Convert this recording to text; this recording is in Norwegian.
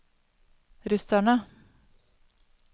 russerne